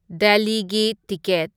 ꯗꯦꯜꯂꯤꯒꯤ ꯇꯤꯀꯦꯠ